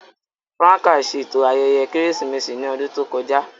Franca ṣeto ayẹyẹ Keresimesi ni ọdun to kọja.